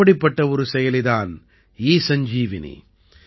இப்படிப்பட்ட ஒரு செயலி தான் ஈசஞ்சீவனி